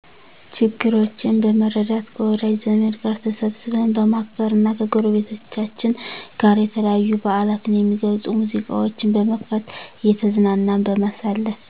ችግረኛቼን በመርዳት ከወዳጅ ዘመድ ጋር ተሰብስበን በማክበር እና ከጎረቤቶቻችን ጋር የተለያዪ በዓላትን የሚገልፁ ሙዚቃዎችን በመክፈት እየተዝናናን በማሳለፍ